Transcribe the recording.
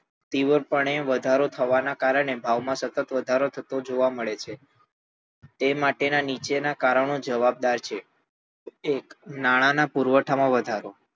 તીવ્રપણે વધારો થવાના કારણે ભાવમાં સતત વધારો થતો જોવા મળે છે તે માટે નીચેનાં કારણો જવાબદાર છે એક નાણાંના પુરવઠામાં વધારો